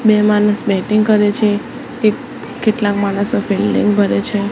બે માણસ બેટિંગ કરે છે કે કેટલાક માણસો ફિલ્ડિંગ ભરે છે.